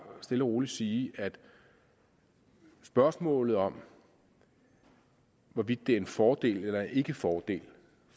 stille og roligt sige at spørgsmålet om hvorvidt det er en fordel eller ikke fordel